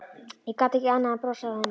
Ég gat ekki annað en brosað að henni.